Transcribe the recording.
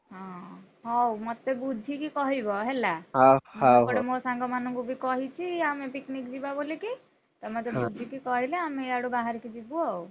ହଁ ହଉ, ମତେ ବୁଝିକି କହିବ ହେଲା ମୁଁ ଏପଟେ ମୋ ସାଙ୍ଗମାନଙ୍କୁ ବି କହିଛି ଆମେ picnic ଯିବା ବୋଲିକି, ତମେ ମତେ ବୁଝିକି କହିଲେ ଆମେ ଇଆଡୁ ବାହାରିକି ଯିବୁ ଆଉ।